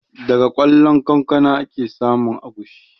Daga ƙwallon kankana ake samun agushi